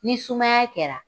Ni sumaya kɛra